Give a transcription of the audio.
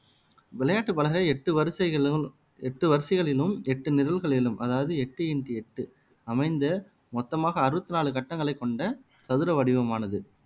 விளையாட்டு பலகை எட்டு வரிசைகளிலும் எட்டு வரிசைகளிலும் எட்டு நிரல்களிலும் அதாவது எட்டு இன்டு எட்டு அமைந்த மொத்தமாக அறுபத்தி நாலு கட்டங்களைக் கொண்ட சதுர வடிவமானது